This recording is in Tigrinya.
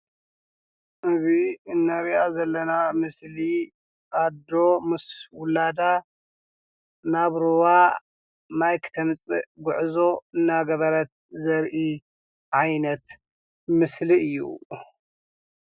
እዚ እንሪኣ ዘለና ምስሊ ኣዶ ምስ ዉላዳ ናብ ሩባ ማይ ክተምፅእ ጉዕዞ እናገበረት ዘርኢ ዓይነት ምስሊ እዩ።